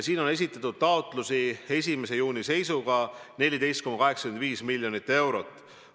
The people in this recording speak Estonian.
Neid taotlusi on 1. juuni seisuga esitatud 14,85 miljoni euro ulatuses.